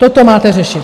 Toto máte řešit!